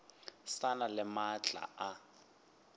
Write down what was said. sa na le maatla a